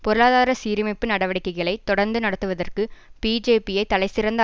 பொருளாதார சீரமைப்பு நடவடிக்கைகளை தொடர்ந்து நடத்துவதற்கு பிஜேபியை தலைசிறந்த